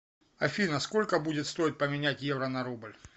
афина сколько будет стоить поменять евро на рубль